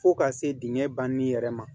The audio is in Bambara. Fo ka se dingɛ banni yɛrɛ ma